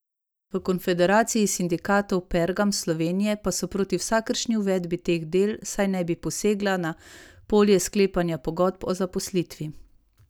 V Konfederaciji sindikatov Pergam Slovenije pa so proti vsakršni uvedbi teh del, saj naj bi posegla na polje sklepanja pogodb o zaposlitvi.